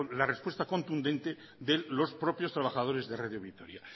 la respuesta contundente de los propios trabajadores de radio vitoria